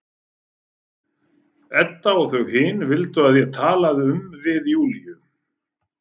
Edda og þau hin vildu að ég talaði um við Júlíu.